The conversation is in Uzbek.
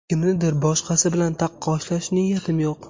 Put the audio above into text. Kimnidir boshqasi bilan taqqoslash niyatim yo‘q.